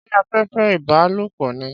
Ṣé afẹ́fẹ́ ìbálòpọ̀ ni?